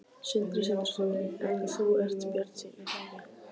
Sindri Sindrason: En þú ert bjartsýn er það ekki?